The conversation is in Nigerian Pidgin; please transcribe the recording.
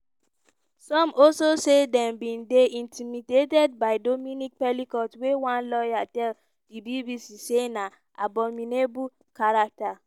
some also say dem bin dey intimidated by dominique pelicot wey one lawyer tell di bbc say na "abominable character".